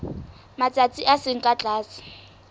matsatsi a seng ka tlase